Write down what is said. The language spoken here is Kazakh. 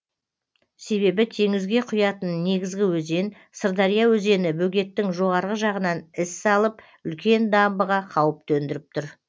себебі теңізге құятын негізгі өзен сырдария өзені бөгеттің жоғарғы жағынан із салып үлкен дамбыға қауіп төндіріп тұр